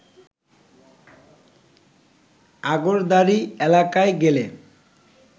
আগরদাড়ি এলাকায় গেলে